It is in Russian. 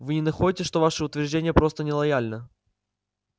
вы не находите что ваше утверждение просто нелояльно